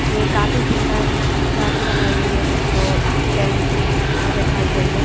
ये काफी सुंदर झांकी बनाई गई है जिसको टेंट में बिठाई गई है।